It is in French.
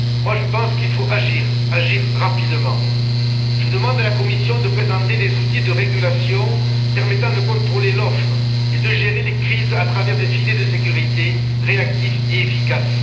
Je pense qu'il faut agir, et agir rapidement. Je demande à la Commission de présenter des outils de régulation permettant de contrôler l'offre et de gérer les crises à travers des filets de sécurité réactifs et efficaces.